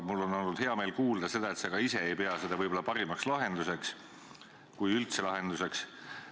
Mul on olnud hea meel kuulda, et sa ka ise ei pea seda võib-olla parimaks lahenduseks, kui üldse pead lahenduseks.